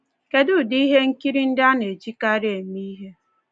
Kedụ ụdị ihe nkiri ndị a na-ejikarị eme ihe?